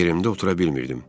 Yerimdə otura bilmirdim.